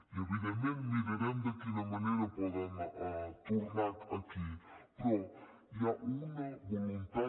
i evidentment mirarem de quina manera poden tornar aquí però hi ha una voluntat